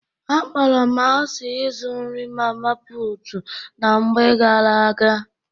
Akpọrọ m asị ịzụ nri mama putu na mgbe ghara aga